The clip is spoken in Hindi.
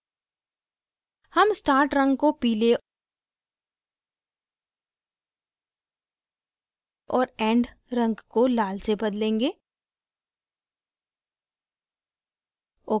हम start रंग को पीले और end रंग को लाल से बदलेंगे